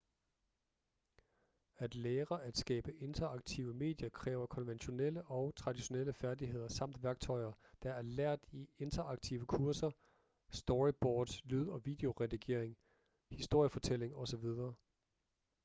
at lære at skabe interaktive medier kræver konventionelle og traditionelle færdigheder samt værktøjer der er lært i interaktive kurser storyboards lyd- og videoredigering historiefortælling osv.